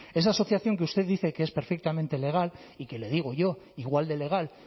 esa asociación que usted dice que es perfectamente legal y que le digo yo igual de legal